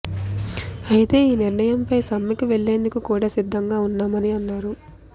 అయితే ఈ నిర్ణయం పై సమ్మెకు వెళ్లేందుకు కూడా సిద్దం గా ఉన్నామని అన్నారు